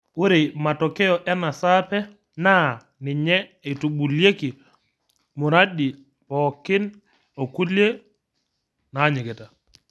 Ore matokeo ena saape naa ninye eitubulieki muradi pookin okulie naanyikita.